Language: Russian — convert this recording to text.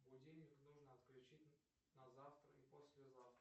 будильник нужно отключить на завтра и послезавтра